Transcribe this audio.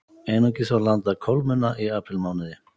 Einungis var landað kolmunna í aprílmánuði